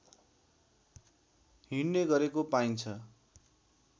हिँड्ने गरेको पाइन्छ